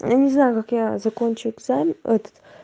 я не знаю как я закончу экзамен этот